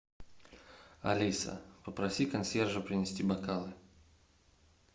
алиса попроси консьержа принести бокалы